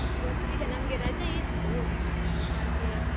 ಇವತ್ತು ಇಲ್ಲ, ನಮ್ಗೆ ರಜೆ ಇತ್ತು, ಹಾಗೆ.